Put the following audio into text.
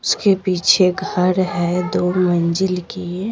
उसके पीछे घर है दो मंजिल की।